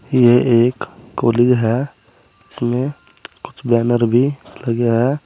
ये एक कॉलेज है। इसमें कुछ बैनर भी लगे हैं।